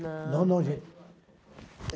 Não. Não, não, gente.